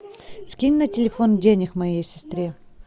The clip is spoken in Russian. скинь на телефон денег моей сестре